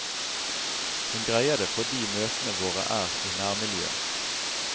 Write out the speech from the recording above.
Hun greier det fordi møtene våre er i nærmiljøet.